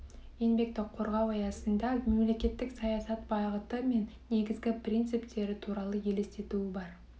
еңбекті қорғау аясында мемлекеттік саясат бағыты мен негізгі принциптері туралы елестетуі бар